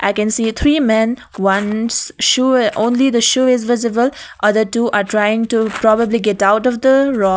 i can see a three men one's shoe only the shoe is visible other two are trying to probably get out of the rock.